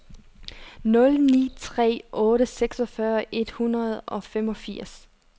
nul ni tre otte seksogfyrre et hundrede og femogfirs